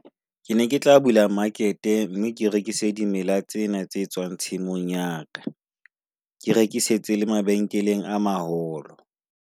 Ke ne ke tla bula market-e mme ke rekise dimela tsena tse tswang tshimong ya ka. Ke rekisetse le mabenkeleng a maholo.